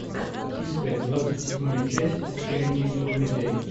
искать двадцать седьмая часть отчаянные домохозяйки